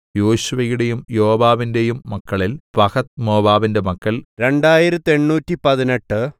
യേശുവയുടെയും യോവാബിന്റെയും മക്കളിൽ പഹത്ത്മോവാബിന്റെ മക്കൾ രണ്ടായിരത്തെണ്ണൂറ്റിപ്പതിനെട്ട്